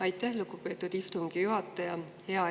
Aitäh, lugupeetud istungi juhataja!